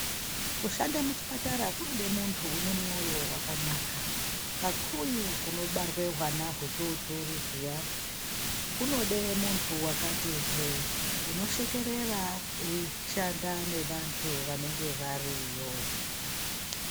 Kushanda muchipatara kunoda muntu une moyo wakanaka kakuuyu kunobarwa hwana udodori kuyani kunoda muntu akati hwe unoshekerera eishanda nevanhu vanenge variyo.